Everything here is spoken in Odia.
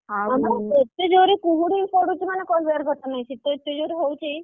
ଆଉ ହଁ ବା ଏତେ ଜୋରେ ଯେ କୁହୁଡି ପଡୁଛି ମାନେ କହିବାର କଥା ନାହିଁ